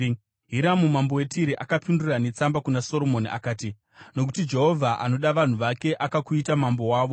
Hiramu mambo weTire akapindura netsamba kuna Soromoni akati: “Nokuti Jehovha anoda vanhu vake, akakuita mambo wavo.”